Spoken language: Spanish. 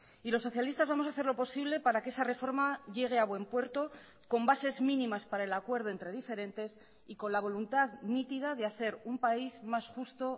y los socialistas vamos a hacer lo posible para que esa reforma llegue a buen puerto con bases mínimas para el acuerdo entre diferentes y con la voluntad nítida de hacer un país más justo